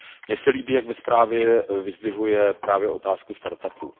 Mně se líbí, jak ve zprávě vyzdvihuje právě otázku start upů.